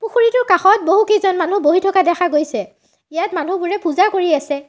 পুখুৰীটোৰ কাষত বহুকেইজন মানুহ বহি থকা দেখা গৈছে ইয়াত মানুহবোৰে পূজা কৰি আছে।